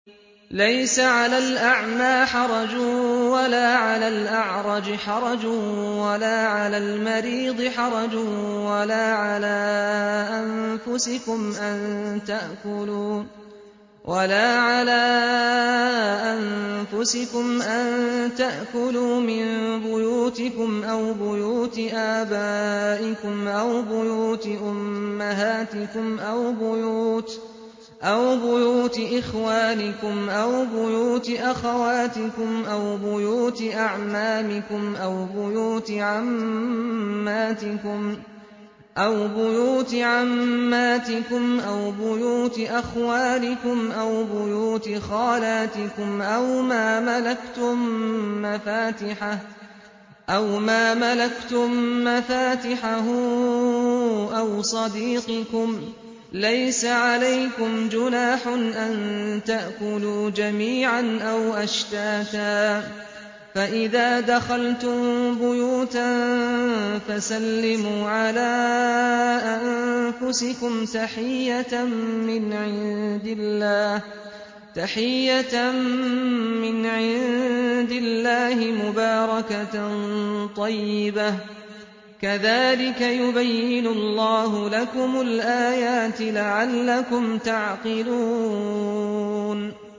لَّيْسَ عَلَى الْأَعْمَىٰ حَرَجٌ وَلَا عَلَى الْأَعْرَجِ حَرَجٌ وَلَا عَلَى الْمَرِيضِ حَرَجٌ وَلَا عَلَىٰ أَنفُسِكُمْ أَن تَأْكُلُوا مِن بُيُوتِكُمْ أَوْ بُيُوتِ آبَائِكُمْ أَوْ بُيُوتِ أُمَّهَاتِكُمْ أَوْ بُيُوتِ إِخْوَانِكُمْ أَوْ بُيُوتِ أَخَوَاتِكُمْ أَوْ بُيُوتِ أَعْمَامِكُمْ أَوْ بُيُوتِ عَمَّاتِكُمْ أَوْ بُيُوتِ أَخْوَالِكُمْ أَوْ بُيُوتِ خَالَاتِكُمْ أَوْ مَا مَلَكْتُم مَّفَاتِحَهُ أَوْ صَدِيقِكُمْ ۚ لَيْسَ عَلَيْكُمْ جُنَاحٌ أَن تَأْكُلُوا جَمِيعًا أَوْ أَشْتَاتًا ۚ فَإِذَا دَخَلْتُم بُيُوتًا فَسَلِّمُوا عَلَىٰ أَنفُسِكُمْ تَحِيَّةً مِّنْ عِندِ اللَّهِ مُبَارَكَةً طَيِّبَةً ۚ كَذَٰلِكَ يُبَيِّنُ اللَّهُ لَكُمُ الْآيَاتِ لَعَلَّكُمْ تَعْقِلُونَ